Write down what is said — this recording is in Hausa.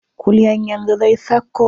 Kulyan yanzu zai sauko.